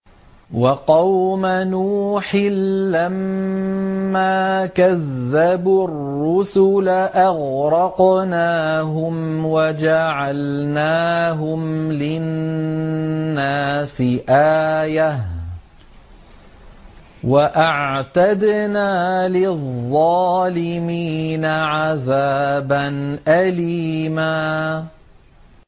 وَقَوْمَ نُوحٍ لَّمَّا كَذَّبُوا الرُّسُلَ أَغْرَقْنَاهُمْ وَجَعَلْنَاهُمْ لِلنَّاسِ آيَةً ۖ وَأَعْتَدْنَا لِلظَّالِمِينَ عَذَابًا أَلِيمًا